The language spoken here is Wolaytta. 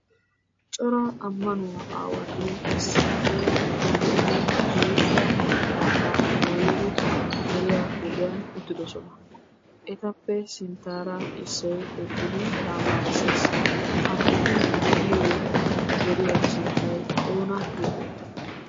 Cora ammanuwa aawati issippe shiiqidi geeshsha maxxaafaa dooyidi deriya huuphiyan uttidosona. Etappe sinttaara issoy eqqidi tamaarisses. Ha eti de'iyo deriya sunttay oona geetettii?